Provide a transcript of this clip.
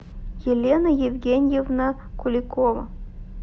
елена евгеньевна куликова